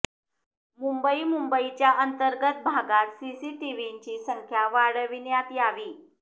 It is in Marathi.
मुंबई मुंबईच्या अंतर्गत भागांत सीसी टीव्हींची संख्या वाढविण्यात यावी